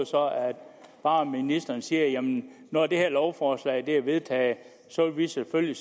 bare ministeren siger at man når det her lovforslag er vedtaget selvfølgelig